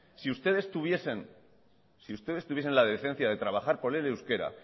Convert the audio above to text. si ustedes tuviesen si ustedes tuviesen la decencia de trabajar por el euskera